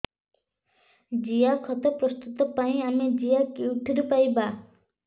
ଜିଆଖତ ପ୍ରସ୍ତୁତ ପାଇଁ ଆମେ ଜିଆ କେଉଁଠାରୁ ପାଈବା